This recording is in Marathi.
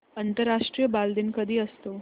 आंतरराष्ट्रीय बालदिन कधी असतो